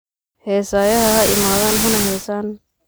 Hesayaha haimadhan hana hesan.